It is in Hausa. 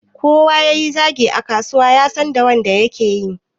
Kowa yayi zagi a kasuwa yasan da wanda yake.